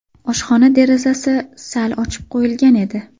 Oshxona derazasi sal ochib qo‘yilgan edi.